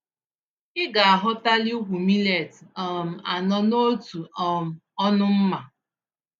Ịgaaghọtali úkwú millet um anọ n'otu um ọnụ mmá